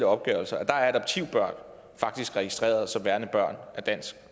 opgørelser er adoptivbørn faktisk registeret som værende børn af dansk